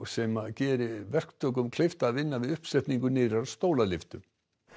sem gerir verktökum kleift að vinna við uppsetningu nýrrar stólalyftu